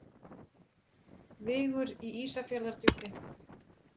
Vigur í Ísafjarðardjúpi.